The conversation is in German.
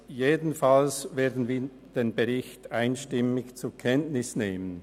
Jedenfalls werden wir den Bericht einstimmig zur Kenntnis nehmen.